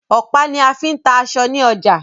Ọ̀pá ní a fí ń ta aṣọ ní ọjà.